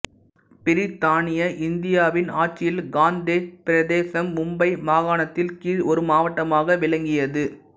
பிரித்தானிய இந்தியாவின் ஆட்சியில் காந்தேஷ் பிரதேசம் மும்பை மாகாணத்தின் கீழ் ஒரு மாவட்டமாக விளங்கியது